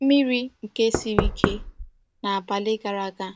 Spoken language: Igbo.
Mmiri nke siri ike n’abali gara aga